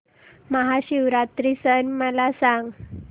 महाशिवरात्री सण मला सांग